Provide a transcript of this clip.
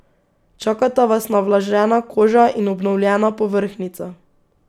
Čakata vas navlažena koža in obnovljena povrhnjica.